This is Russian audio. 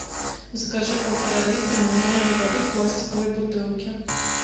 закажи полтора литра минеральной воды в пластиковой бутылке